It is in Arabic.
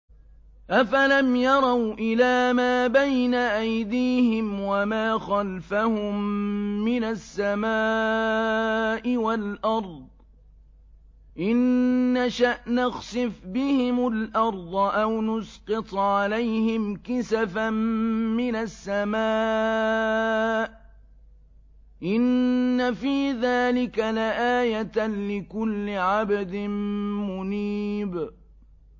أَفَلَمْ يَرَوْا إِلَىٰ مَا بَيْنَ أَيْدِيهِمْ وَمَا خَلْفَهُم مِّنَ السَّمَاءِ وَالْأَرْضِ ۚ إِن نَّشَأْ نَخْسِفْ بِهِمُ الْأَرْضَ أَوْ نُسْقِطْ عَلَيْهِمْ كِسَفًا مِّنَ السَّمَاءِ ۚ إِنَّ فِي ذَٰلِكَ لَآيَةً لِّكُلِّ عَبْدٍ مُّنِيبٍ